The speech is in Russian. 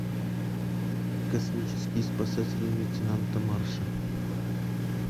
космические спасатели лейтенанта марша